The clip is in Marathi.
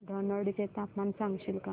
धनोडी चे तापमान सांगशील का